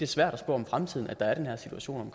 svært at spå om fremtiden at der er den her situation